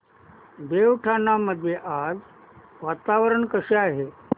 देवठाण मध्ये आज वातावरण कसे आहे